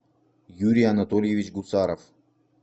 юрий анатольевич гусаров